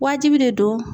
Wajibi de do